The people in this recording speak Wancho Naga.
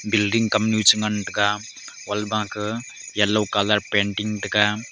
building kam nyu che ngan tega wall wa ka yellow colour painting tega.